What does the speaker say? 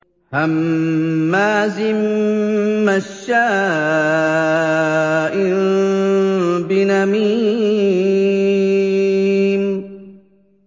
هَمَّازٍ مَّشَّاءٍ بِنَمِيمٍ